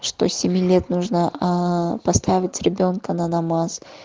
что с семи лет нужно аа поставить ребёнка на намаз